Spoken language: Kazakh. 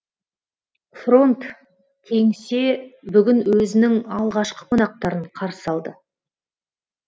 фронт кеңсе бүгін өзінің алғашқы қонақтарын қарсы алды